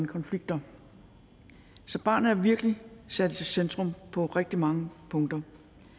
konflikter så barnet er virkelig sat i centrum på rigtig mange punkter